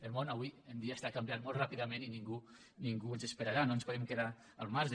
el món avui en dia està canviant molt ràpidament i ningú ens esperarà no ens podem quedar al marge